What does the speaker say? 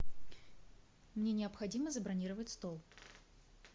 мне необходимо забронировать стол